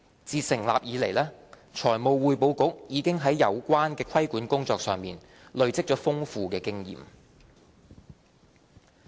自成立以來，財務匯報局已在有關的規管工作上累積了豐富的經驗。